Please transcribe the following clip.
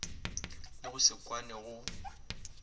le go se kwane go